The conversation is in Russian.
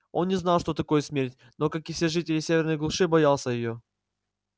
он не знал что такое смерть но как и все жители северной глуши боялся её